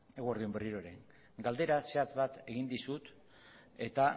eguerdi on berriro ere galdera zehatz bat egin dizut eta